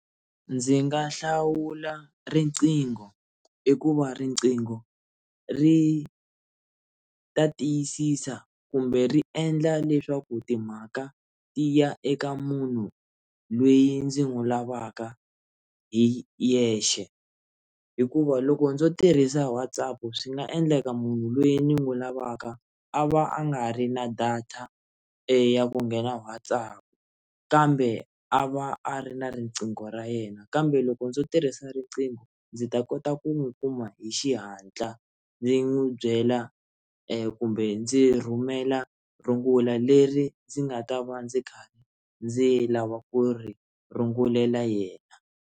Ndzi nga hlawula riqingho hikuva rinqingo ri ta tiyisisa kumbe ri endla leswaku timhaka ti ya eka munhu lweyi ndzi n'wi lavaka hi yexe hikuva loko ndzo tirhisa WhatsApp swi nga endleka munhu loyi ni n'wi lavaka a va a nga ri na data e ya ku nghena WhatsApp kambe a va a ri na riqingho ra yena kambe loko ndzo tirhisa eka riqingho ndzi ta kota ku n'wi kuma hi xihatla ndzi n'wi byela kumbe ndzi rhumela rungula leri ndzi nga ta va ndzi kha ndzi lava ku ri rungulela yena.